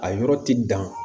A yɔrɔ ti dan